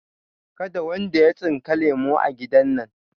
Kada wanda ya tsinka lemu a gidan nan!